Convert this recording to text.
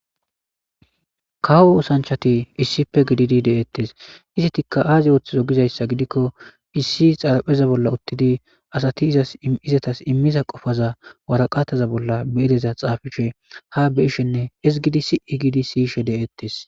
Kawo oosanchchatti issippe gididi de'ettes ettikka azi ooththizi gizayssa gidikko issi xaraphpheza bolla uuttidii asati imiza qopaza waraqataza bolla bidii iza xaafishe ha beyishenne hizigidii sii gidii de'ettes